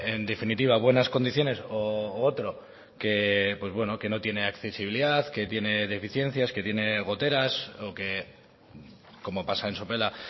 en definitiva buenas condiciones u otro que no tiene accesibilidad que tiene deficiencias que tiene goteras o que como pasa en sopela